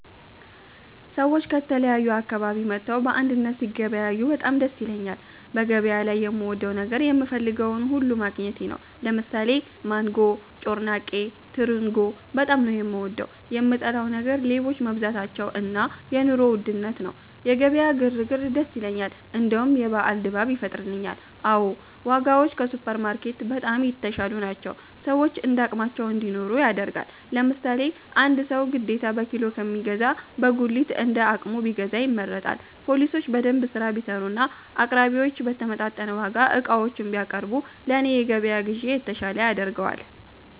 ሰዎች ከተለያዩ አካባቢ መጥተው በአንድነት ሲገበያዬ በጣም ደስ ይለኛል በገበያ ላይ የምወደው ነገር የምፈልገውን ሁሉ ማግኘቴ ነው። ለምሳሌ ማንጎ፤ ጮርናቄ፤ ትርንጎ በጣም ነው፤ የምወደው። የምጠላው ነገር ሌቦች መብዛታቸው እና የ ኑሮ ውድነት ነው። የገበያ ግር ግር ደስ ይለኛል እንደውም የበአል ድባብ ይፈጥርልኛል። አዎ ! ዋጋዎች ከሱፐር ማርኬት በጣም የተሻሉ ናቸው፤ ሰዎች እንዳቅማቸው እንዲኖሩ ያደርጋል። ለምሳሌ አንድ ሰው ግዴታ በኪሎ ከሚገዛ በጉሊት እንደ አቅሙ ቢገዛ ይመረጣል። ፓሊሶች በደንብ ስራ ቢሰሩና አቅራቢዮች በተመጣጠነ ዋጋ ዕቃዎችን ቢያቀርቡ ለኔ የገበያ ግዢ የተሻለ ያደርገዋል